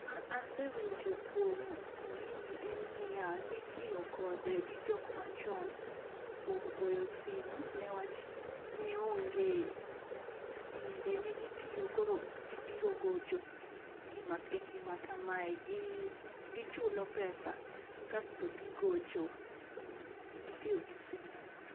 Gima asewinjo kuom gini en niya: nitiyo kode gi jok machon kuom goyo simu newach ne onge simbe ne gitiyo koro jii biro gocho e gima kamae gi gichulo pesa kasto gigocho gitiyo gi simu